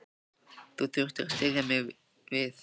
Ég þurfti að styðja mig við þig.